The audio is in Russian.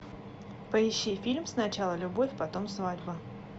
поищи фильм сначала любовь потом свадьба